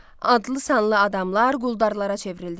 Adlı-sanlı adamlar quldarlara çevrildilər.